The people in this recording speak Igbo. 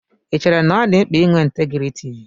Ì chéré na ọ dị mkpa ị nwé ntégriiti?